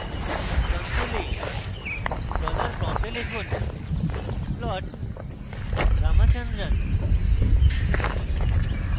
console $prompt লিখুন plot ramachandran